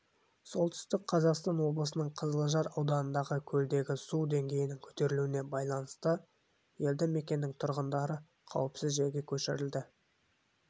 солтүстік қазақстан облысының қызылжар ауданындағы көлдегі су деңгейінің көтерілуіне байланысты елді мекеннің тұрғындары қауіпсіз жерге көшірілді